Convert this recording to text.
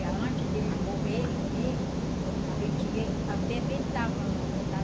E antes deles morrerem mesmo, a gente ia e fermentava logo, sabe?